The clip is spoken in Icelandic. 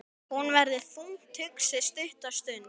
Hún verður þungt hugsi stutta stund.